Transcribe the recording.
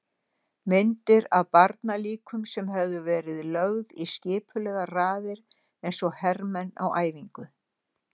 Myndir af barnalíkum sem höfðu verið lögð í skipulegar raðir eins og hermenn á æfingu.